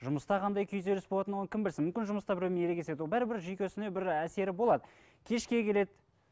жұмыста қандай күйзеліс болатынын оның кім білсін мүмкін жұмыста біреумен ерегеседі ол бәрібір жүйкесіне бір әсері болады кешке келеді